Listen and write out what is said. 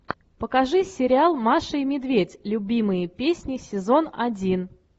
покажи сериал маша и медведь любимые песни сезон один